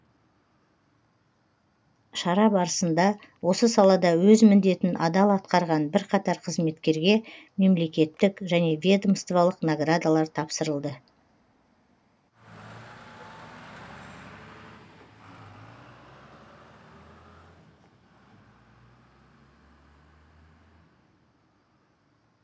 шара барысында осы салада өз міндетін адал атқарған бірқатар қызметкерге мемлекеттік және ведомстволық наградалар тапсырылды